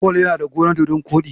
Paul ya na da gonar dodon koɗi.